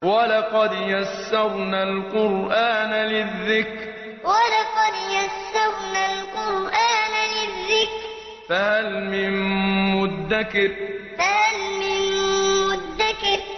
وَلَقَدْ يَسَّرْنَا الْقُرْآنَ لِلذِّكْرِ فَهَلْ مِن مُّدَّكِرٍ وَلَقَدْ يَسَّرْنَا الْقُرْآنَ لِلذِّكْرِ فَهَلْ مِن مُّدَّكِرٍ